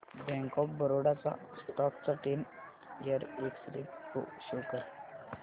bank of Baroda च्या stock चा ten year x ray pro show कर